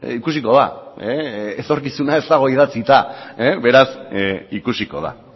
ikusiko da etorkizuna ez dago idatzita beraz ikusiko da